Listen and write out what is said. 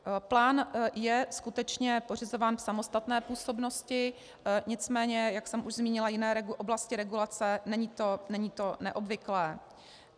Plán je skutečně pořizován v samostatné působnosti, nicméně jak už jsem zmínila jiné oblasti regulace, není to neobvyklé.